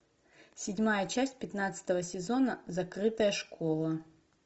седьмая часть пятнадцатого сезона закрытая школа